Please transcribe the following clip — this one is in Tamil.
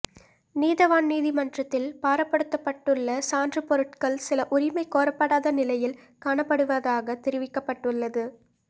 நீதவான் நீதிமன்றத்தில் பாரப்படுத்தப்பட்டுள்ள சான்றுப் பொருட்கள் சில உரிமை கோரப்படாத நிலையில் காணப்படுவதாகத் தெரிவிக்கப்பட்டுள்ளது